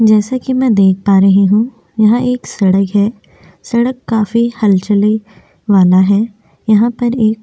जैसा कि मैं देख पा रही हूं यह एक सड़क है सड़क काफी हलचल वाला है यहाँ पर एक --